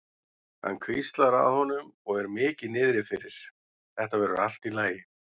Hann hvíslar að honum og er mikið niðri fyrir: Þetta verður allt í lagi.